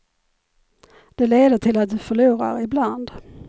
Det leder till att du förlorar ibland.